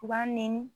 U b'a nɛni